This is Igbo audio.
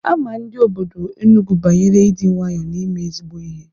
Ama ndị obodo Enugwu banyere ịdị nwayọọ na ime ezigbo ihe.